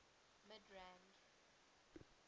midrand